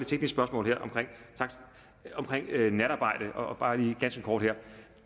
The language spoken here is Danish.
teknisk spørgsmål om natarbejde og bare lige ganske kort